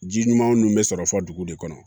Ji ɲuman nunnu bɛ sɔrɔ fɔ dugu de kɔnɔ